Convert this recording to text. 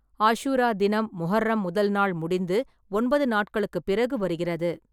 ஆஷுரா தினம், முஹர்ரம் முதல் நாள் முடிந்து ஒன்பது நாட்களுக்குப் பிறகு வருகிறது.